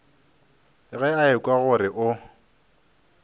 ge a ekwa gore o